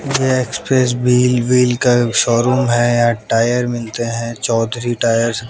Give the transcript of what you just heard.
ये express wheel wheel का showroom है यहां टायर मिलते हैं चौधरी टायर्स --